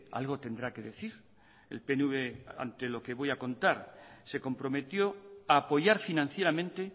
algo tendrá que decir el pnv ante lo que voy a contar se comprometió a apoyar financieramente